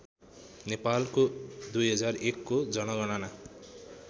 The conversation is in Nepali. नेपालको २००१को जनगणना